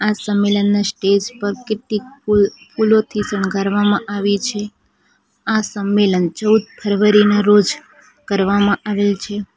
આ સંમેલનના સ્ટેજ પર કેટલી ફુલ કુલોથી શણગારવામાં આવે છે આ સંમેલન ચૌદ ફરવરી ના રોજ કરવામાં આવેલ છે.